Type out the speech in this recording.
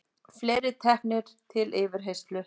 Fleiri teknir til yfirheyrslu